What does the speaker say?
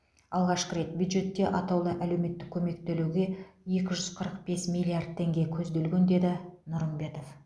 алғашқы рет бюджетте атаулы әлеуметтік көмек төлеуге екі жүз қырық бес миллиард теңге көзделген деді нұрымбетов